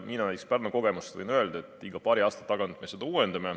Mina näiteks Pärnu kogemusest võin öelda, et me uuendame seda iga paari aasta tagant.